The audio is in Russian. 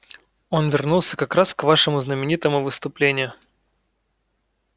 он вернулся как раз к вашему знаменитому выступлению